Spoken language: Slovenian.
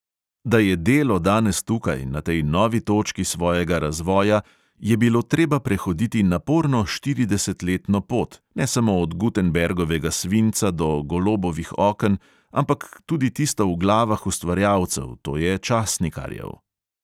Da je delo danes tukaj, na tej novi točki svojega razvoja, je bilo treba prehoditi naporno štiridesetletno pot, ne samo od gutenbergovega svinca do golobovih oken, ampak tudi tisto v glavah ustvarjalcev, to je časnikarjev.